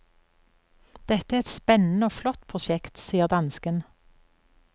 Dette er et spennende og flott prosjekt, sier dansken.